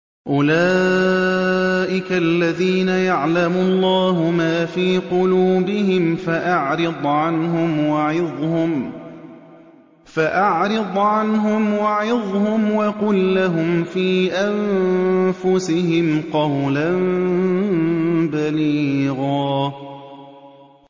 أُولَٰئِكَ الَّذِينَ يَعْلَمُ اللَّهُ مَا فِي قُلُوبِهِمْ فَأَعْرِضْ عَنْهُمْ وَعِظْهُمْ وَقُل لَّهُمْ فِي أَنفُسِهِمْ قَوْلًا بَلِيغًا